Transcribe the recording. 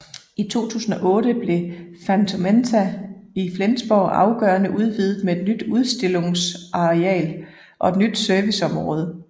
I 2008 blev Phänomenta i Flensborg afgørende udvidet med et nyt udstillungsareal og et nyt serviceområde